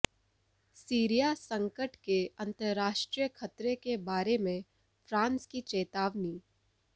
Syria संकट के अंतर्राष्ट्रीय ख़तरे के बारे में फ़्रांस की चेतावनी